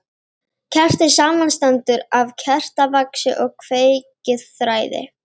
Kerti samanstendur af kertavaxi og kveikiþræði.